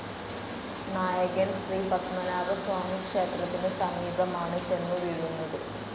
നായകൻ ശ്രീപദ്മനാഭസ്വാമിക്ഷേത്രത്തിനു സമീപമാണ് ചെന്നു വീഴുന്നത്.